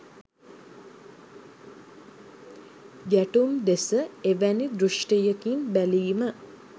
ගැටුම් දෙස එවැනි දෘෂ්ටියකින් බැලීම